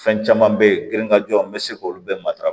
Fɛn caman be ye giriya jɔ n be se k'olu bɛɛ matara